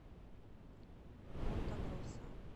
понта гроса